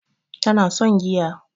Tana son giya